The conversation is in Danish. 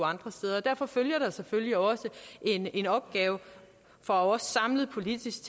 andre steder derfor følger der selvfølgelig også en opgave for os samlet politisk